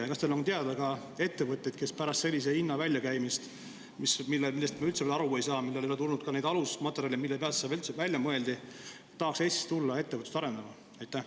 Ja kas teile on teada ka ettevõtteid, kes pärast sellise hinna väljakäimist – me üldse veel aru ei saa, mille pealt see välja mõeldi, ei ole tulnud ka neid alusmaterjale – tahaks Eestisse tulla ettevõtlust arendama?